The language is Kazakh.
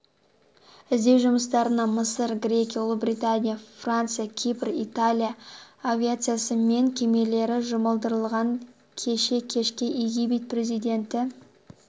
іздеу жұмыстарына мысыр грекия ұлыбритания франция кипр италия авиациясы мен кемелері жұмылдырылған кеше кешке египет президенті